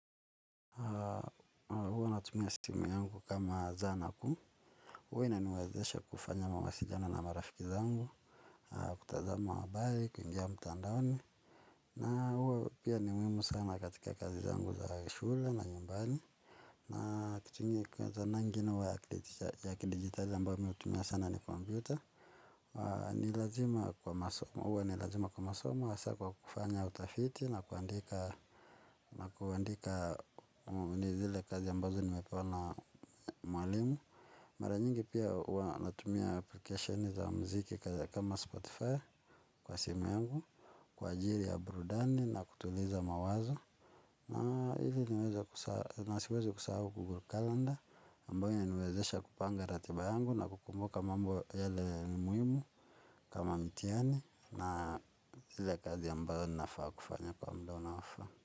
Huwa natumia simu yangu kama zanaku huwa inaniwezeshe kufanya mawasiliano na marafiki zangu kutazama habari, kuingia mtandaoni na huwa pia ni muhimu sana katika kazi zangu za shule na nyumbani na kitu ingine ya kidigitali amba uwe tumia sana ni komputa ni lazima kwa masomo huwa nilazima kwa masomo kufanya utafiti na kuandika nakuandika zile kazi ambazo nimepewa mwalimu mara nyingi pia huwa natumia application za mziki kama Spotify kwa simu yangu kwa sjiri ya burudani na kutuliza mawazo na hili na siwezi kusahau Google Calendar ambayo inaniwezesha kupanga ratiba yangu na kukumbuka mambo yake ni muhimu kama mitihani na ile ya kazi ambayo nafaa kufanya kwa muda unaofaa.